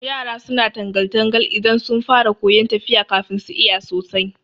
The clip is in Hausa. Yara suna tangal- tangal idan sun fara koyan tafiya kafin su iya sosai